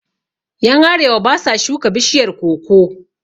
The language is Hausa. Yan arewa basa shuka bishiyar koko